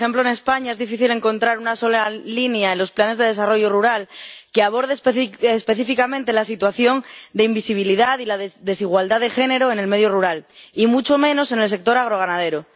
Por ejemplo, en España es difícil encontrar una sola línea en los planes de desarrollo rural que aborde específicamente la situación de invisibilidad y de desigualdad de género en el medio rural, y mucho menos en el sector agroganadero.